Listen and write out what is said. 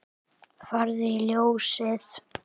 Farðu í Ljósið!